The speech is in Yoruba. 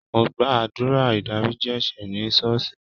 Mo gba àdúrà ìdáríjì ẹ̀ṣẹ̀ ní ṣọ́ọ̀ṣì.